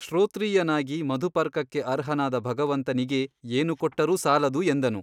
ಶ್ರೋತ್ರೀಯನಾಗಿ ಮಧುಪರ್ಕಕ್ಕೆ ಅರ್ಹನಾದ ಭಗವಂತನಿಗೆ ಏನು ಕೊಟ್ಟರೂ ಸಾಲದು ಎಂದನು.